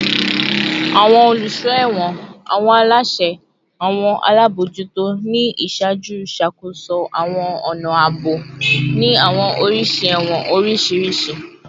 Awọn oluso ẹwọn / awọn alaṣẹ / awọn alabojuto ni iṣaaju ṣakoso awọn ọna aabo ni awọn oriṣi ẹwọn oriṣiriṣi